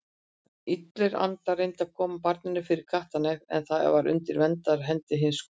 Illir andar reyndu að koma barninu fyrir kattarnef en það var undir verndarhendi hins góða.